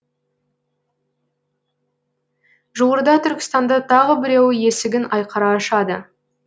жуырда түркістанда тағы біреуі есігін айқара ашады